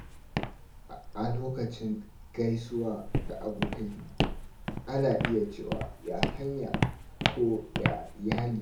A lokacin gaisuwa da abokai, ana iya cewa “Ya hanya?” ko “Ya iyali?”